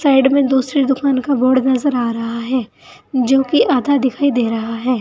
Side में दूसरी दुकान का बोर्ड नजर आ रहा है जो कि आधा दिखाई दे रहा है।